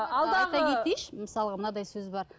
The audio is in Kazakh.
мысалға мынадай сөз бар